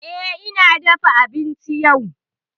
Eh, ni na dafa abinci yau.